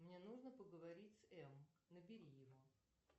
мне нужно поговорить с эм набери его